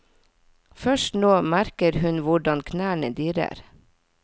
Først nå merker hun hvordan knærne dirrer.